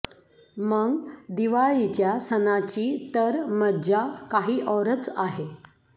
मग दिवाळीच्या सणाची तर मज्जा काही औरच आहे